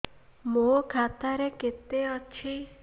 ମୋ ଖାତା ରେ କେତେ ଅଛି